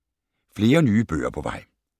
Flere nye bøger er på vej